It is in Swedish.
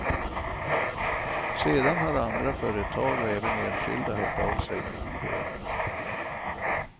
Sedan har andra företag och även enskilda hört av sig med bidrag.